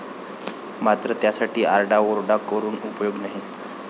मात्र त्यासाठी आरडाओरडा करून उपयोग नाही.